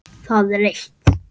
Það er eitt.